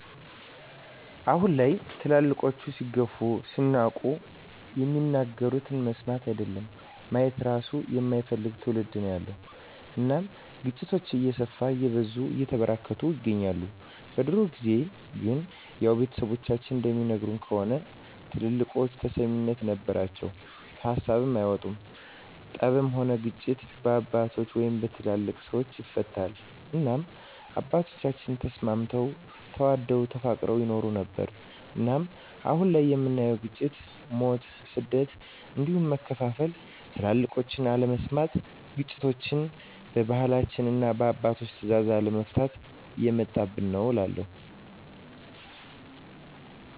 አሁን ላይ ትልልቆች ሲገፉ ሲናቁ የሚናገሩትን መስማት አይደለም ማየት እራሱ የማይፈልግ ትዉልድ ነዉ ያለዉ እናም ግጭቶች እየሰፉ እየበዙ እየተበራከቱ ይገኛል። በድሮ ጊዜ ግን ያዉ ቤተሰቦቻችን እንደሚነግሩን ከሆነ ትልልቆች ተሰሚነት ነበራቸዉ ከሀሳባቸዉ አይወጡም ጠብም ሆነ ግጭት በአባቶች(በትልልቅ ሰወች) ይፈታል እናም አባቶቻችን ተስማምተዉ ተዋደዉ ተፋቅረዉ ይኖሩ ነበር። እናም አሁን ላይ የምናየዉ ግጭ፣ ሞት፣ ስደት እንዲሁም መከፋፋል ትልቆችን አለመስማት ግጭቶችችን በባህላችንና እና በአባቶች ትእዛዝ አለመፍታት የመጣብን ነዉ እላለሁ።